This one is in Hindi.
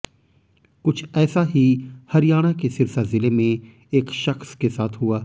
कुछ ऐसा ही हरियाणा के सिरसा जिले में एक शख्स के साथ हुआ